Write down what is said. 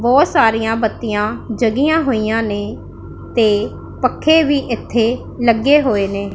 ਬਹੁਤ ਸਾਰੀਆਂ ਬੱਤੀਆਂ ਜੱਗਿਆਂ ਹੋਈਆਂ ਨੇਂ ਤੇ ਪੱਖੇ ਵੀ ਇੱਥੇ ਲੱਗੇ ਹੋਏ ਨੇ।